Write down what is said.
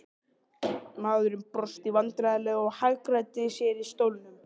Maðurinn brosti vandræðalega og hagræddi sér í stólnum.